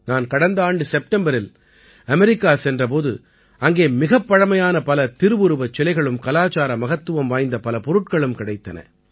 நான் கடந்த ஆண்டு செப்டம்பரில் அமெரிக்கா சென்ற போது அங்கே மிகப் பழைமையான பல திருவுருவச் சிலைகளும் கலாச்சார மகத்துவம் வாய்ந்த பல பொருட்களும் கிடைத்தன